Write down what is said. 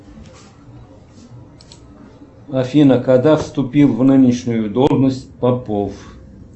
афина когда вступил в нынешнюю должность попов